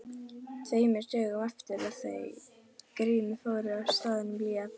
Tveimur dögum eftir að þau Grímur fóru frá staðnum lét